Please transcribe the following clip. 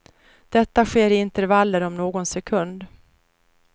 Detta sker i intervaller om någon sekund.